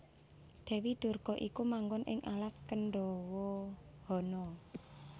Dèwi Durga iku manggon ing alas Krendhawahana